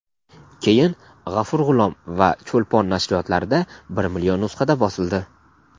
keyin "G‘afur G‘ulom" va "Cho‘lpon" nashriyotlarida bir million nusxada bosildi.